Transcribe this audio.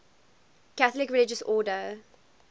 catholic religious order